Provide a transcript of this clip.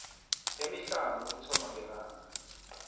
emihlanu ukuthoma ngelanga